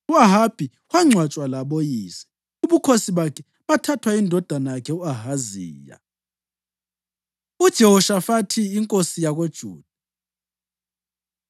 U-Ahabi wangcwatshwa laboyise. Ubukhosi bakhe bathathwa yindodana yakhe u-Ahaziya. UJehoshafathi Inkosi YakoJuda